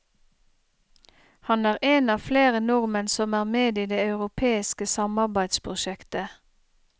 Han er en av flere nordmenn som er med i det europeiske samarbeidsprosjektet.